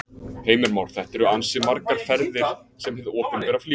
Heimir Már: Þetta eru ansi margar ferðir sem hið opinbera flýgur?